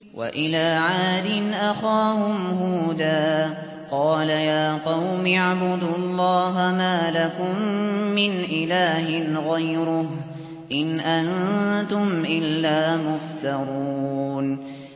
وَإِلَىٰ عَادٍ أَخَاهُمْ هُودًا ۚ قَالَ يَا قَوْمِ اعْبُدُوا اللَّهَ مَا لَكُم مِّنْ إِلَٰهٍ غَيْرُهُ ۖ إِنْ أَنتُمْ إِلَّا مُفْتَرُونَ